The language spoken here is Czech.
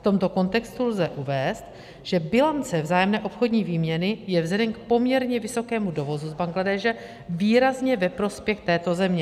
V tomto kontextu lze uvést, že bilance vzájemné obchodní výměny je vzhledem k poměrně vysokému dovozu z Bangladéše výrazně ve prospěch této země.